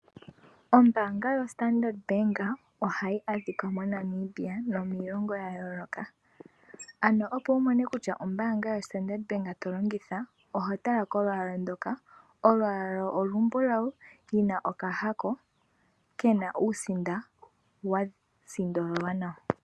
Ombaanga yoStandrd bank ohayi adhika moNamibia nomiilongo ya yooloka ano opo wu mone kutya ombaanga yoStandrd bank to longitha oho tala kolwaala ndoka ,olwaala olumbulawu lina okahako kena uusinda wa sindololwa nawa.